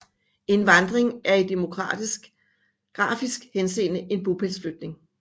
En vandring er i demografisk henseende en bopælsflytning